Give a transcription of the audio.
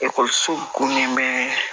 Ekɔlisow ko min bɛ